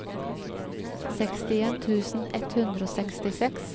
sekstien tusen ett hundre og sekstiseks